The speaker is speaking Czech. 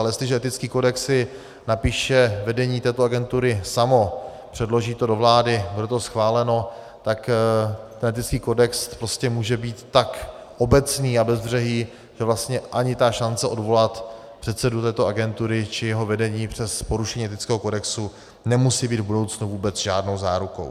Ale jestliže etický kodex si napíše vedení této agentury samo, předloží to do vlády, bude to schváleno, tak ten etický kodex prostě může být tak obecný a bezbřehý, že vlastně ani ta šance odvolat předsedu této agentury či jeho vedení přes porušení etického kodexu nemusí být v budoucnu vůbec žádnou zárukou.